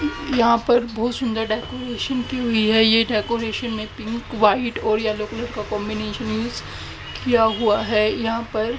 यहां पर बहुत सुन्दर डेकोरेशन की हुई है ये डेकोरेशन में पिंक व्हाईट और येलो कलर का कॉम्बिनेशन यूज किया हुआ है यहां पर--